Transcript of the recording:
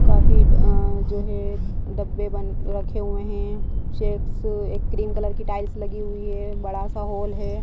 काफी जो है डब्बे बन रखे हुए हैं चेक्स एक क्रीम कलर की टाइल्स लगी हुई है बड़ा सा हॉल है।